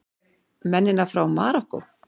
Mennina frá Marokkó!